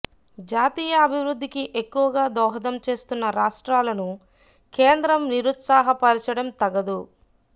జాతీయ అభివృద్దికి ఎక్కువగా దోహదం చేస్తున్న రాష్ట్రాలను కేంద్రం నిరుత్సాహపరచడం తగదు